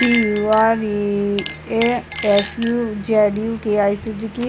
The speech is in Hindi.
A S U Z U K I Suzuki --